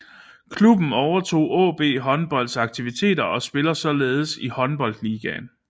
Klubben overtog AaB Håndbolds aktiviteter og spiller således i Håndboldligaen